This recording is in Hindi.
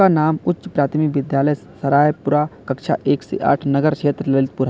नाम उच्च प्राथमिक विद्यालय सरायपुरा कक्षा एक से आठ नगर क्षेत्र ललितपुर--